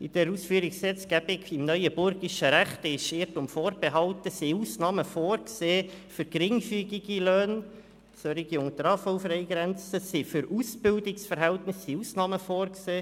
In dieser Ausführungsgesetzgebung im neuenburgischen Recht sind – Irrtum vorbehalten – Ausnahmen für geringfügige Löhne vorgesehen, für solche unter der AHV-Freigrenze, für Ausbildungsverhältnisse sind Ausnahmen vorgesehen.